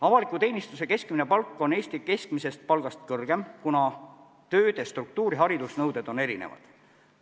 Avaliku teenistuse keskmine palk on Eesti keskmisest palgast kõrgem, kuna tööde struktuur ja haridusnõuded on erinevad.